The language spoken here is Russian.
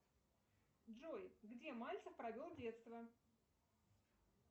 джой где мальцев провел детство